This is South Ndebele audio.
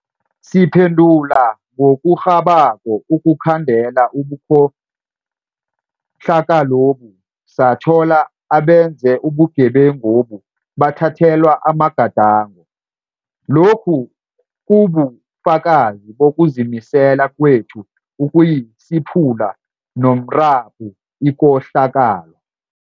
Siphendula ngokurhabako ukukhandela ubukhohlakalobu, sathola abenze ubugebengobu bathathelwa amagadango. Lokhu kubu fakazi bokuzimisela kwethu ukuyisiphula ngomrabhu ikohlakalo.